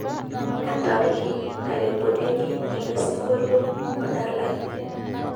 entariki nairekodieki elesingolio odalai